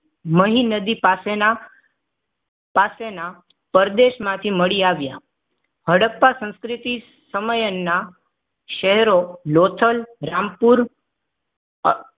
મહી નદી પાસેના પાસેના પ્રદેશમાંથી મળી આવ્યા. હડપ્પા સંસ્કૃતિ સમયના શહેરો લોથલ રામપુર અ